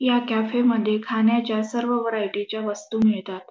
ह्या कॅफे मध्ये खाण्याच्या सर्व व्हरायटी च्या वस्तू मिळतात.